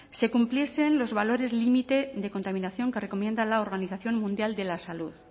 se cumpliesen los valores límite de contaminación que recomienda la organización mundial de la salud